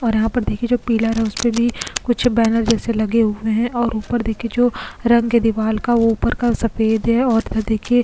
और यहां पर देखिए जो पिलर है उस पे भी कुछ बैनर जैसे लगे हुए हैं और ऊपर देखिए जो रंग है दीवार का वो ऊपर का सफेद है और इधर देखिए --